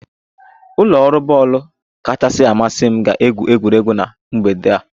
Ụlọ ọrụ bọọlụ kachasị amasị m ga-egwu egwuregwu na mgbede a